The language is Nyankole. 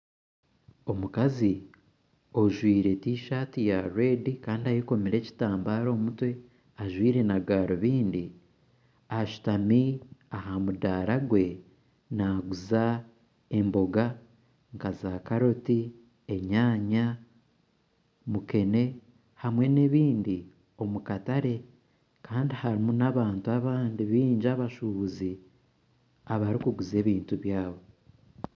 Omukazi ojwire T-shirt ya red Kandi ayekomire ekitambara omumutwe ajwire na garubindi ashutami aha mudara gwe naguza emboga nka za carrot , enyanya, mukene hamwe n'ebindi omukatare kandi harumu n'abantu abandi bingi abashubuzi abarukuguza ebintu byabo.